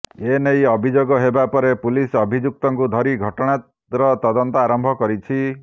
ଏନେଇ ଅଭିଯୋଗ ହେବା ପରେ ପୁଲିସ ଅଭିଯୁକ୍ତକୁ ଧରି ଘଟଣାର ତଦନ୍ତ ଆରମ୍ଭ କରିଛି